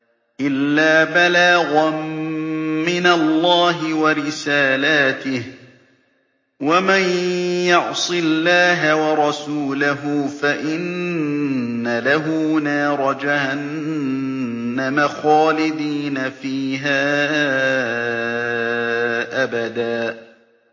إِلَّا بَلَاغًا مِّنَ اللَّهِ وَرِسَالَاتِهِ ۚ وَمَن يَعْصِ اللَّهَ وَرَسُولَهُ فَإِنَّ لَهُ نَارَ جَهَنَّمَ خَالِدِينَ فِيهَا أَبَدًا